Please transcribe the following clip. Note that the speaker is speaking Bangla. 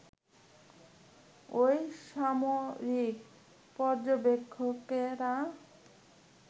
ওই সামরিক পর্যবেক্ষকেরা